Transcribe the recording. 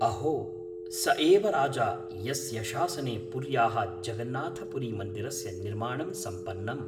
अहो! स एव राजा यस्य शासने पुर्याः जगन्नाथपुरीमन्दिरस्य निर्माणं सम्पन्नम्।